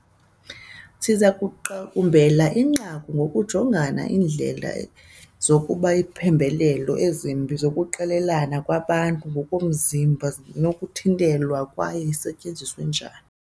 Siza kuqukumbela inqaku ngokujonga indlela zokuba iimpembelelo ezimbi zokuqelelana kwabantu ngokomzimba zinokuthintelwa kwaye isetyenziswe njani.